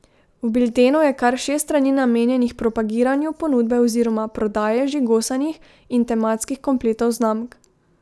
V Biltenu je kar šest strani namenjenih propagiranju ponudbe oziroma prodaje žigosanih in tematskih kompletov znamk.